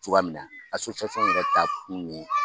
Cogoya min na yɛrɛ taakun ye